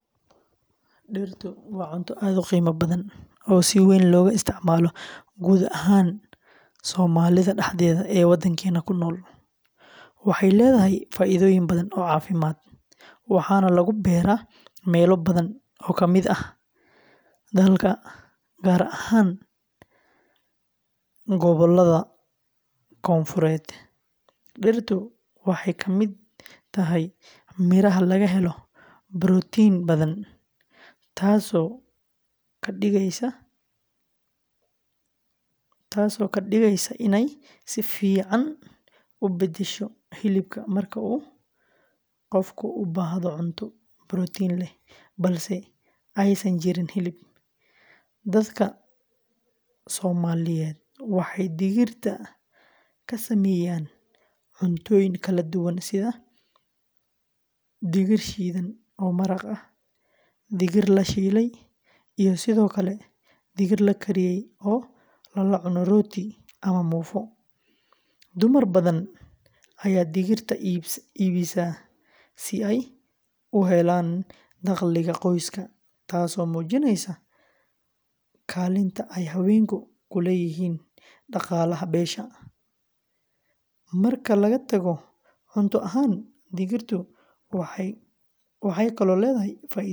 Digirtu waa cunto aad u qiimo badan oo si weyn looga isticmaalo guud ahaan somalidha. Waxay leedahay faa’iidooyin badan oo caafimaad, waxaana lagu beeraa meelo badan oo ka mid ah dalka, gaar ahaan gobollada dhexe iyo kuwa koonfureed. Digirtu waxay ka mid tahay miraha laga helo borotiin badan, taasoo ka dhigaysa inay si fiican u beddesho hilibka marka uu qofku u baahdo cunto borotiin leh balse aysan jirin hilib. Dadka Soomaaliyeed waxay digirta ka sameeyaan cuntooyin kala duwan sida: digir shiidan oo maraq ah, digir la shiilay, iyo sidoo kale digir la kariyey oo lala cuno rooti ama muufo. Dumar badan ayaa digirta iibisa si ay u helaan dakhliga qoyska, taasoo muujinaysa kaalinta ay haweenku ku leeyihiin dhaqaalaha beesha. Marka laga tago cunto ahaan, digirtu waxay kaloo leedahay faa’iidooyin caafimaad.